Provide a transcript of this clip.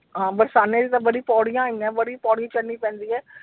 ਹਾਂ ਬੜੀ ਪੌੜੀਆਂ ਹੈਗੀਆਂ ਬੜੀ ਪੌੜੀ ਪੈਂਦੀ ਆ।